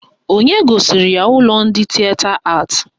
Onye gosiri ya ụlọ ndị Tịeta Atị?